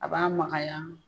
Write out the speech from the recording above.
A b'a makaya.